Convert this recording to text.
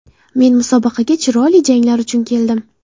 Men musobaqaga chiroyli janglar uchun keldim.